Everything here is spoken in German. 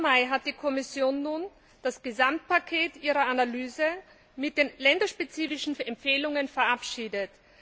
30. Mai hat die Kommission nun das Gesamtpaket ihrer Analyse mit den länderspezifischen Empfehlungen verabschiedet.